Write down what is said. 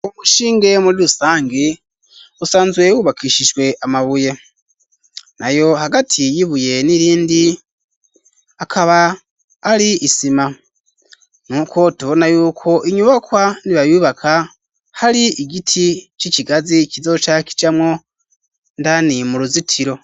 Wumushinge muri rusange usanzwyewubakishishwe amabuye na yo hagati yibuye n'irindi akaba ari isima nuko tubona yuko inyubakwa nibayubaka hari igiti c'ikigazi kizoca kijamwo ndaniye mu ruzitiro.